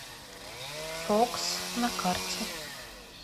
фокс на карте